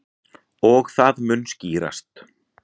Og það mun skýrast.